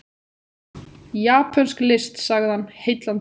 Japönsk list sagði hann, heillandi.